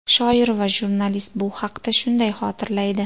Shoir va jurnalist bu haqda shunday xotirlaydi .